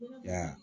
Ya